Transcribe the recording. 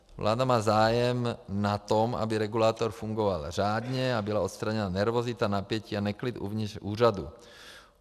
Vláda má zájem na tom, aby regulátor fungoval řádně a byla odstraněna nervozita, napětí a neklid uvnitř úřadu.